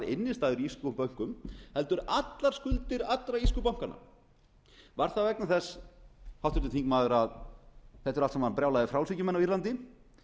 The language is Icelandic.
innistæður í írskum bönkum heldur allar skuldir allra írsku bankanna var það vegna þess háttvirtur þingmaður að þetta eru allt saman brjálaðir frjálshyggjumenn á írlandi